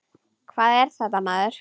Hvað er þetta maður?